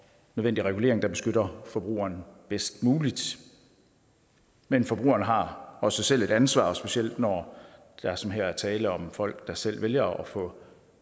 nødvendig regulering der beskytter forbrugeren bedst muligt men forbrugeren har også selv et ansvar og specielt når der som her er tale om folk der selv vælger at få